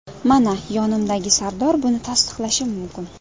Mana yonimdagi Sardor buni tasdiqlashi mumkin.